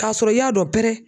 K'a sɔrɔ i y'a dɔn pɛrɛ.